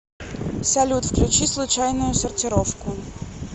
салют включи случайную сортировку